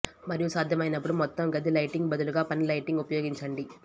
మరియు సాధ్యమైనప్పుడు మొత్తం గది లైటింగ్ బదులుగా పని లైటింగ్ ఉపయోగించండి